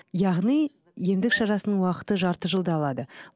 яғни емдік шарасының уақыты жарты жылды алады